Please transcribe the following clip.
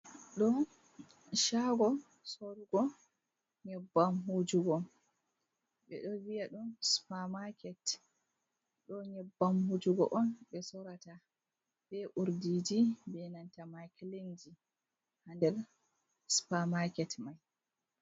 Ɗo shago sorrugo nyebbam wujugo, ɓe ɗo viya ɗum Supa maket, ɗo nyebbam wujugo'on ɓe sorrata be urdiji be nanta makilinji ha nder Supa maket mai.